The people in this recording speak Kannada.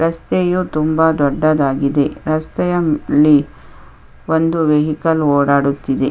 ರಸ್ತೆಯು ತುಂಬ ದೊಡ್ಡದಾಗಿದೆ ರಸ್ತೆಯ ಲ್ಲಿ ಒಂದು ವೆಹಿಕಲ್ ಓಡಾಡುತಿದೆ.